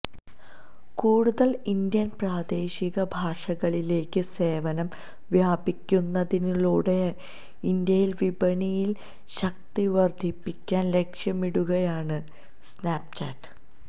കൂടുതല് ഇന്ത്യന് പ്രാദേശിക ഭാഷകളിലേക്ക് സേവനം വ്യാപിപ്പിക്കുന്നതിലൂടെ ഇന്ത്യയില് വിപണിയില് ശക്തിവര്ധിപ്പിക്കാന് ലക്ഷ്യമിടുകയാണ് സ്നാപ്ചാറ്റ്